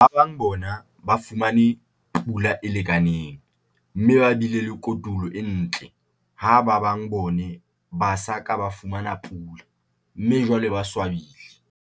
Ba bang bona ba fumane pula e lekaneng, mme ba bile le kotulo e ntle, ha ba bang bona ba sa ka ba fumana pula, mme jwale ba swabile.